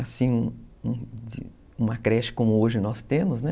Assim, uma creche como hoje nós temos, né?